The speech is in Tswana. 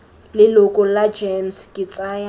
leloko la gems ke tsaya